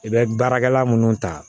I bɛ baarakɛla minnu ta